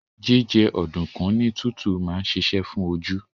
Jíjẹ ọ̀dùnkún ní tútù máa ń ṣiṣẹ́ fún oju